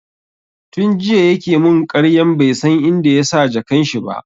Tun jiya ya ke mun ƙaryan bai san inda yasa jakan shi ba